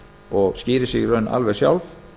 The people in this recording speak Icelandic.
og skýrir sig í raun alveg sjálf